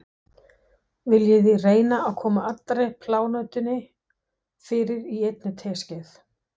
Viljiði reyna að koma allri plánetunni fyrir í einni teskeið.